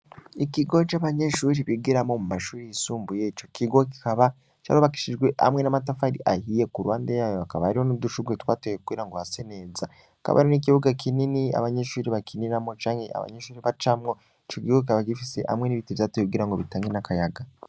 Ikigo c'abanyenshuri bigiramo mu mashuri yisumbuye co kigo kikaba carobakishijwe hamwe n'amatafari ahiye ku ruwande yayo akaba yariho n'udushurwe twatewe kugira ngo hase neza, kabari n'ikibuga kinini abanyenshuiri bakiniramo canke abanyenshuri bacamwo, ico gigo kikaba gifise hamwe n'ibiti vyateye kugira ngo bitange n'akayaga.